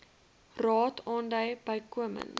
raad aandui bykomend